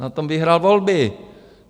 Na tom vyhrál volby.